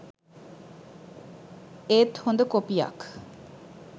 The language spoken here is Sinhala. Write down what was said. ඒත් හොඳ කොපියක්